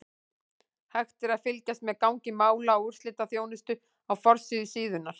Hægt er að fylgjast með gangi mála á úrslitaþjónustu á forsíðu síðunnar.